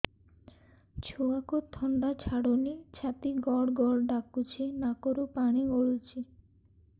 ଛୁଆକୁ ଥଣ୍ଡା ଛାଡୁନି ଛାତି ଗଡ୍ ଗଡ୍ ଡାକୁଚି ନାକରୁ ପାଣି ଗଳୁଚି